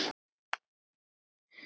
Það voru sko góðir tímar.